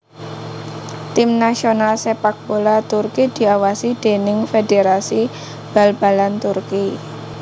Tim nasional sépak bola Turki diawasi déning Federasi Bal balan Turki